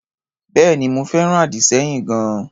Bẹ́èni, mo fẹ́ràn àdì-sẹ́yìn gan-an.